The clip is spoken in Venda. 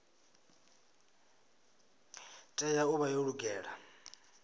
tea u vha yo lugela